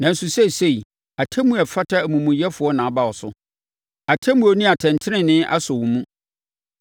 Nanso seesei, atemmuo a ɛfata amumuyɛfoɔ na aba wo so; atemmuo ne atɛntenenee asɔ wo mu.